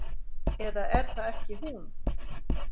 Eða er það ekki hún?